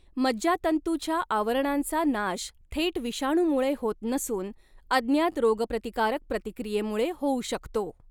मज्जातंतुच्या आवरणांचा नाश थेट विषाणूमुळे होत नसून अज्ञात रोगप्रतिकारक प्रतिक्रियेमुळे होऊ शकतो.